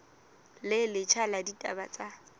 le letjha la ditaba tsa